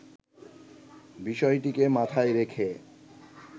বিষয়টিকে মাথায় রেখে